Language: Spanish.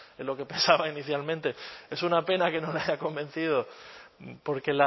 en lo que pensaba inicialmente es una pena que no le haya convencido porque